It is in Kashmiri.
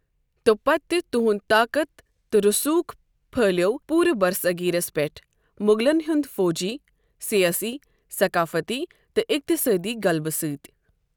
توپتہٕ تہنٛد طاقت تہٕ روٚسوٗک پٔہھلیو پورٕ برصغیرس پٮ۪ٹھ مغلن ہنٛد فوجی، سیٲسی، ثقافتی تہٕ اقتصٲدی غلبہٕ سۭتۍ۔